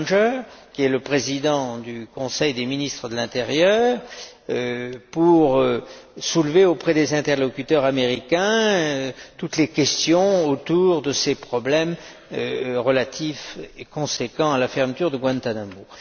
Langer, qui est le président du Conseil des ministres de l'intérieur, pour soulever auprès des interlocuteurs américains toutes les questions autour de ces problèmes relatifs et consécutifs à la fermeture de Guantánamo.